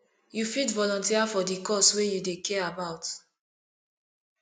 you fit volunteer for di cause wey you dey care about